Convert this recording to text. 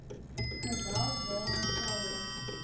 geweld waaraan vroue